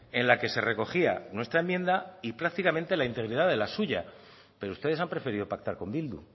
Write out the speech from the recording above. en la que se recogía nuestra enmienda y prácticamente la integridad de la suya pero ustedes han preferido pactar con bildu